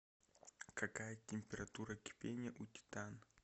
какая температура кипения у титан